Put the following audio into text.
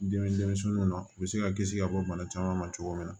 Dimi denmisɛnninw na u bɛ se ka kisi ka bɔ bana caman ma cogo min na